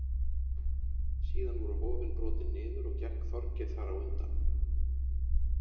Síðan voru hofin brotin niður og gekk Þorgeir þar á undan.